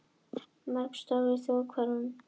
Mörg störf í þróunarverkefnum